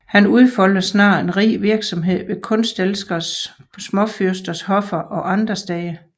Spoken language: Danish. Han udfoldede snart en rig virksomhed ved kunstelskende småfyrsters hoffer og andre steder